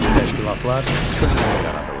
Bu təşkilatlar könüllü yaradılır.